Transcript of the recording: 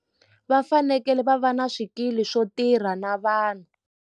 Va fanekele va va na swikili swo tirha na vanhu.